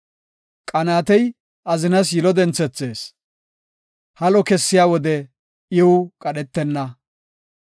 Qanaatey azinas yilo denthethees; halo kessiya wode iw qadhetenna.